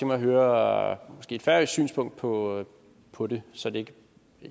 mig at høre et færøsk synspunkt på på det simpelt